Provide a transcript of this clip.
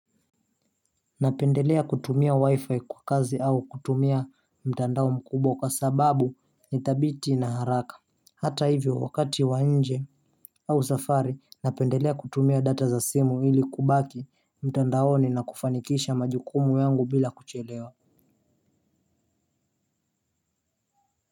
Napendelea kutumia wi-fi kwa kazi au kutumia mtandao mkubwa kwa sababu nitabiti na haraka. Hata hivyo wakati wanje au safari napendelea kutumia data za simu ili kubaki mtandaoni na kufanikisha majukumu yangu bila kuchelewa.